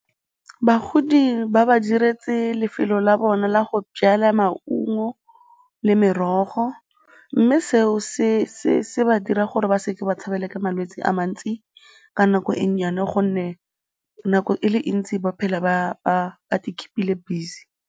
Bagodi ba ba diretse lefelo la bona la go jala maungo le merogo mme seo se ba dira gore ba se ke ba tshabelwa ke malwetse a mantsi ka nako e nnyane gonne nako e le ntsi ba phela ba i-keep-ile busy.